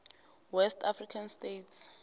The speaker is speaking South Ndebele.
west african states